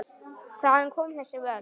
Hvaðan koma þessi völd?